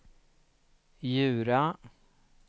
Djura